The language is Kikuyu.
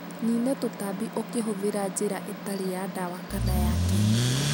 Nina tũtambi ũkĩhũthĩra njĩra ĩtarĩ ya dawa kana ya kemiko.